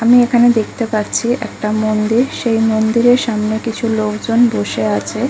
আমি এখানে দেখতে পাচ্ছি একটা মন্দির সেই মন্দিরের সামনে কিছু লোকজন বসে আছে।